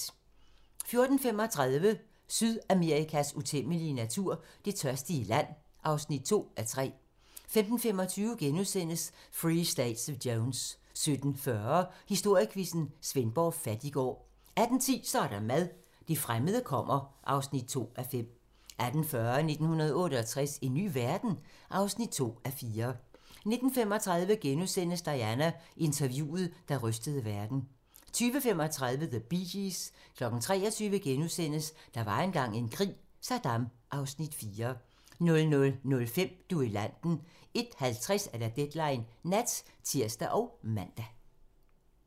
14:35: Sydamerikas utæmmelige natur - Det tørstige land (2:3) 15:25: Free State of Jones * 17:40: Historiequizzen: Svendborg Fattiggård 18:10: Så er der mad - det fremmede kommer (2:5) 18:40: 1968 - en ny verden? (2:4) 19:35: Diana: Interviewet, der rystede verden * 20:35: The Bee Gees 23:00: Der var engang en krig - Saddam (Afs. 4)* 00:05: Duellanten 01:50: Deadline Nat (tir og man)